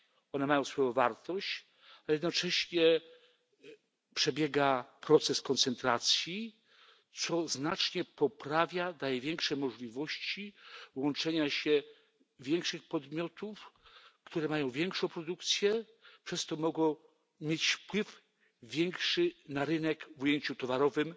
One mają swoją wartość. A jednocześnie przebiega proces koncentracji, co znacznie poprawia, daje większe możliwości łączenia się większych podmiotów, które mają większą produkcję. Przez to mogą mieć większy wpływ na rynek w ujęciu towarowym